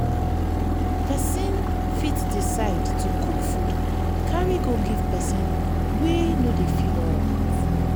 persin fit decide to cook food carry go give persin wey no de feel alright